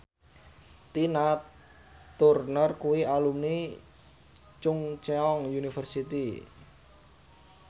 Tina Turner kuwi alumni Chungceong University